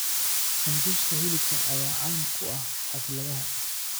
Sambuuska hilibka ayaa caan ku ah xafladaha.